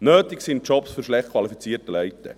Nötig sind Jobs für schlecht qualifizierte Leute.